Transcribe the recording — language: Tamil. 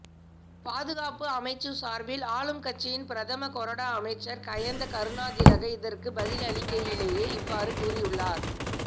பாதுகாப்பு அமைச்சு சார்பில் ஆளும் கட்சியின் பிரதம கொரடா அமைச்சர் கயந்த கருணாதிலக இதற்கு பதிலளிக்கையிலேயே இவ்வாறு கூறியுள்ளார்